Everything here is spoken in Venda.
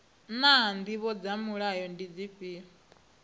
naa ndivho dza mulayo ndi dzifhio